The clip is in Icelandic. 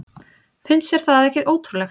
Finnst þér það ekki ótrúlegt?